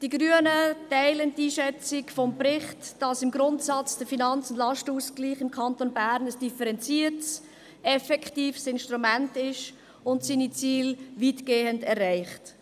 Die Grünen teilen die Einschätzung des Berichts, wonach der Finanz- und Lastenausgleich im Kanton Bern ein differenziertes, effektives Instrument ist und seine Ziele weitgehend erreicht.